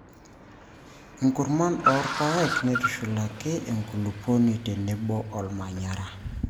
inkurman oorpaek neitushulaki enkulupouoni tenebo olmanyara.